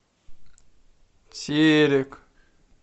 терек